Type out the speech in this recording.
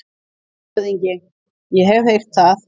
LANDSHÖFÐINGI: Ég hef heyrt það.